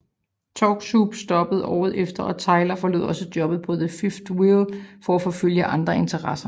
Talk Soup stoppede året efter og Tyler forlod også jobbet på The Fifth Wheel for at forfølge andre interesser